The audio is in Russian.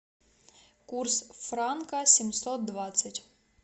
курс франка семьсот двадцать